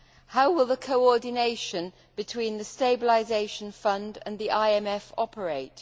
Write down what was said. How will the coordination between the stabilisation fund and the IMF operate?